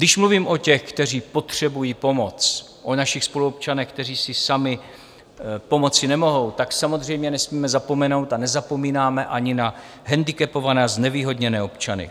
Když mluvím o těch, kteří potřebují pomoc, o našich spoluobčanech, kteří si sami pomoci nemohou, tak samozřejmě nesmíme zapomenout a nezapomínáme ani na handicapované a znevýhodněné občany.